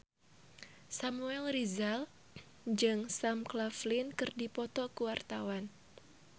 Samuel Rizal jeung Sam Claflin keur dipoto ku wartawan